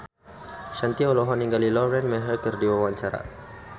Shanti olohok ningali Lauren Maher keur diwawancara